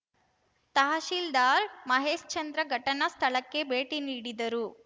ತಹಸೀಲ್ದಾರ್‌ ಮಹೇಶ್ಚಂದ್ರ ಘಟನಾ ಸ್ಥಳಕ್ಕೆ ಭೇಟಿ ನೀಡಿದರು